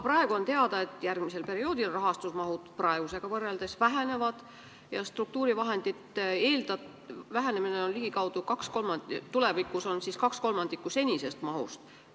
On teada, et järgmisel perioodil rahastuse mahud vähenevad, tulevikus on meile eraldatavate struktuurivahendite maht 2/3 senisest mahust.